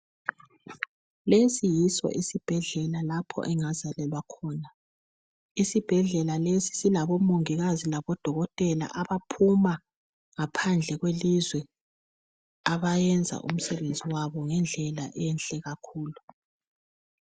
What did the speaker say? Lesi yiso isibhedlela lapho engazalelwa khona isibhedlela lesi silabomongikazi labodokotela abaphuma ngaphandle kwelizwe abayenza umsebenzi wabo ngendlela enhle kakhulu.